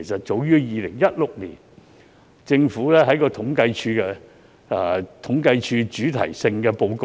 早於2016年，政府統計處的主題性報告中已有提及"劏房"的定義。